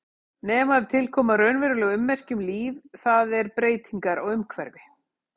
Nema ef til koma raunveruleg ummerki um líf, það er breytingar á umhverfi.